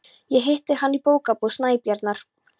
Ég hitti hann í Bókabúð Snæbjarnar.